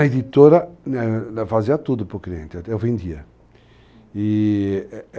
A editora fazia tudo para o cliente, até eu vendia, i-i ...